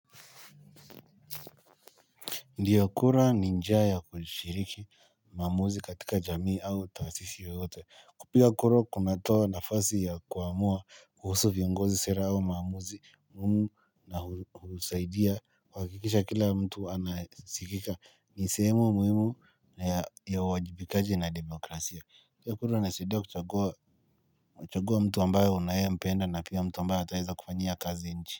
Kupiga kura ni njia ya kushiriki maamuzi katika jamii au taasisi yoyote. Kupiga kura kunatoa nafasi ya kuamua kuhusu viongozi sera au maamuzi humu na husaidia kuhakikisha kila mtu anasikika ni sehemu muhimu ya uwajibikaji na demokrasia. Kupiga kura inasaidia kuchagua mtu ambaye unayempenda na pia mtu ambaye ataweza kufanyia kazi nchi.